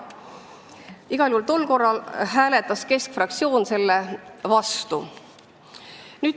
Igal juhul hääletas keskfraktsioon tol korral selle süsteemi vastu.